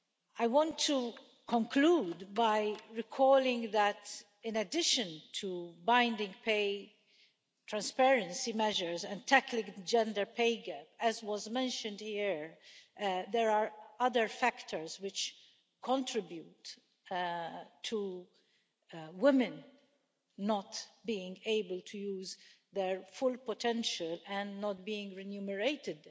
I want to conclude by recalling that in addition to binding pay transparency measures and tackling the gender pay gap, as was mentioned here, there are other factors which contribute to women not being able to use their full potential and not being remunerated